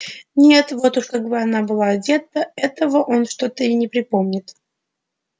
нет вот уж как она была одета этого он что-то не припомнит